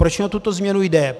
Proč mi o tuto změnu jde?